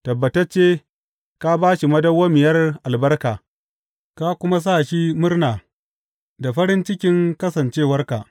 Tabbatacce ka ba shi madawwamiyar albarka ka kuma sa shi murna da farin cikin kasancewarka.